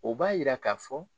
O b'a jira k'a fɔ